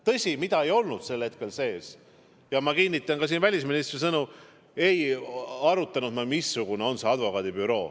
Tõsi, sel hetkel ei olnud arutusel – ma kinnitan siin ka välisministri sõnu –, mis advokaadibüroo see on.